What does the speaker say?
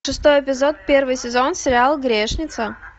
шестой эпизод первый сезон сериал грешница